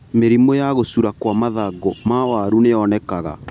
Mĩrimũ ya gũcura kwa mathangũ ma waru nĩyonekaga.